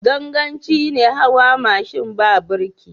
Ganganci ne hawa mashin ba birki.